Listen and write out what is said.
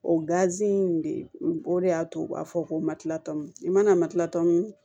O in de o de y'a to u b'a fɔ ko matilatɔn i mana matilatan